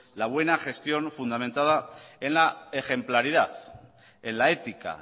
la buena gestión fundamentada en la ejemplaridad en la ética